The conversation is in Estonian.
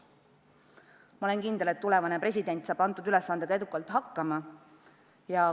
Ma olen kindel, et tulevane president saab selle ülesandega edukalt hakkama.